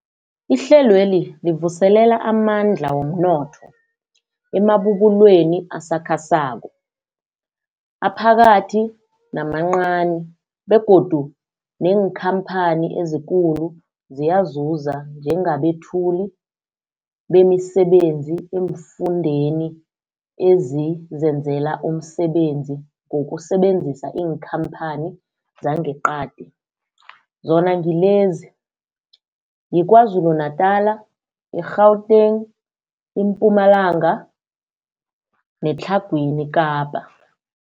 Ihlelweli livuselela amandla womnotho emabubulweni asakhasako, aphakathi namancani begodu neenkhamphani ezikulu ziyazuza njengabethuli bemisebenzi eemfundeni ezizenzela umsebenzi ngokusebenzisa iinkhamphani zangeqadi, zona ngilezi, yiKwaZulu Natala, i-Gauteng, iMpumalanga neTlhagwini Kapa.